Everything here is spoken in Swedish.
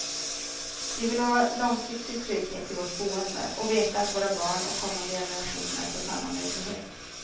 Vi vill ha långsiktig trygghet i vårt boende och veta att våra barn och kommande generationer får samma möjlighet.